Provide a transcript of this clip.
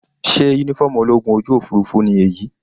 Sé uniform ológun ojú òfurufú ni èyí?